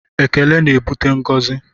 Ekele na-ebute ngọzi